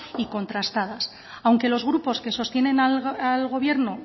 y contrastadas aunque los grupos que sostienen al gobierno